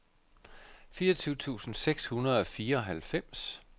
fireogtyve tusind seks hundrede og fireoghalvfems